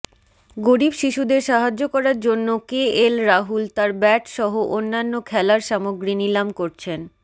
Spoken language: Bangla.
গরিব শিশুদের সাহায্য করার জন্য কেএল রাহুল তার ব্যাট সহ অন্যান্য খেলার সামগ্রী নিলাম করছেন